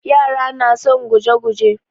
Yara na son guje-guje.